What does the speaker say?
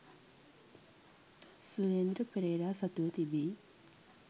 සුරේන්ද්‍ර පෙරේරා සතුව තිබී